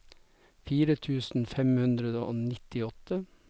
fire tusen fem hundre og nittiåtte